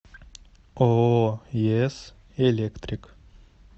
ооо ес электрик